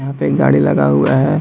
वहां पे एक गाड़ी लगा हुआ है।